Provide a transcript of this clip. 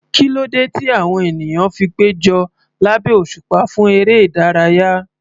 Kí ló dé tí àwọn ènìyàn fi péjọ lábẹ́ òṣùpá fún eré ìdárayá?